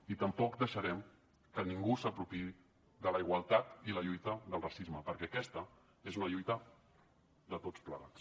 i tampoc deixarem que ningú s’apropiï de la igualtat i la lluita del racisme perquè aquesta és una lluita de tots plegats